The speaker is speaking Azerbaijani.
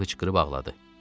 Yeva hıçqırıb ağladı.